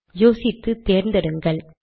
யோசித்து தேர்ந்தெடுக்கலாம்